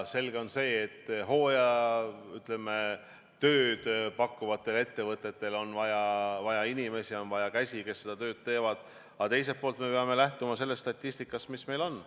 Selge on see, et hooajatööd pakkuvatele ettevõtetele on vaja inimesi, on vaja töökäsi, kes seda tööd teevad, aga teiselt poolt me peame lähtuma sellest statistikast, mis meil on.